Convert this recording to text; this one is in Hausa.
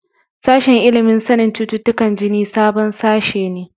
Sashen ilimin sanin cututtukan jini sabon sashe ne.